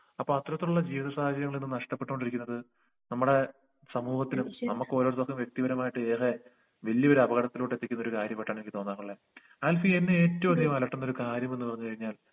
അപ്പൊ അത്രത്തിലുള്ള ജീവിത സാഹചര്യങ്ങളീന്ന് നഷ്ട്ടപ്പെട്ടോണ്ടിരിക്കുന്നത് നമ്മടെ സമൂഹത്തിനും നമ്മുക്ക് ഓരോര്ത്തർക്കും വെക്തിപരമായിട്ട് ഏറെ വല്യൊരു അപകടത്തിലോട്ട് എത്തിക്കുന്നൊരു കാര്യം പെട്ടന്ന് എനിക്ക് തോന്നമളെ അത് എന്നെ ഏറ്റവും അധികം അലട്ടുന്നൊരു കാര്യമെന്ന് പറഞ്ഞ് കഴിഞ്ഞാൽ